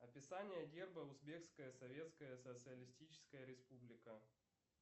описание герба узбекская советская социалистическая республика